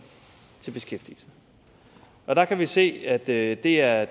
til beskæftigelse og der kan vi se at det det er